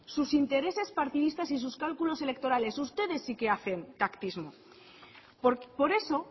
sus intereses partidistas y sus cálculos electorales ustedes sí que hacen pactismo por eso